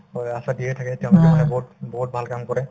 হয়, আশা দিয়াই থাকে তেওঁলোকে মানে বহুত বহুত ভাল কাম কৰে